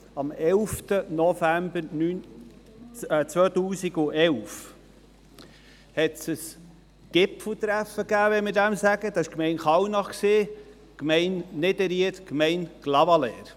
Am 11. November 2011 gab es ein Gipfeltreffen – wenn man dem so sagen darf – der Gemeinden Kallnach, Niederried und Clavaleyres.